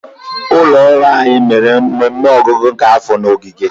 ụlọ ọrụ anyi mere mmemme ọgwụgwụ nke afọ na ogige.